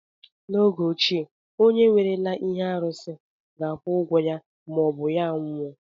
N'oge ochie, onye werela ihe arụsị ga-akwụ ụgwọ ya maọbụ ya anwụọ.